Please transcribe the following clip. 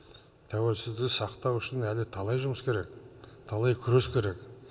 тәуелсіздікті сақтау үшін әлі талай жұмыс керек талай күрес керек